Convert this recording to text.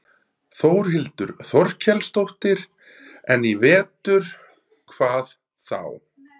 Þórhildur Þorkelsdóttir: En í vetur, hvað þá?